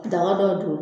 Daga dɔ don